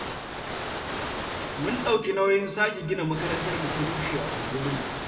Mun ɗauki nauyin sake gina makarantar da ta rushe a unguwarmu.